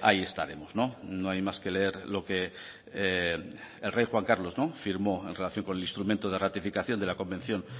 ahí estaremos no hay más que leer lo que el rey juan carlos firmó en relación con el instrumento de ratificación de la convención